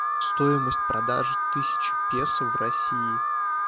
стоимость продажи тысячи песо в россии